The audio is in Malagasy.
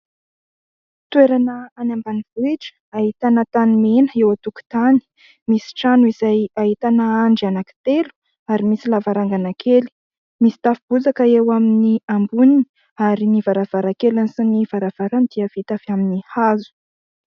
Toerana any ambanivohitra. Ahitana tanimena eo an-tokotany. Misy trano izay ahitana andry anankitelo ary misy lavarangana kely. Misy tafo bozaka eo amin'ny amboniny ary ny varavarankeliny sy ny varavarany dia vita amin'ny hazo.